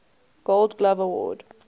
gold glove award